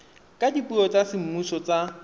ka dipuo tsa semmuso tsa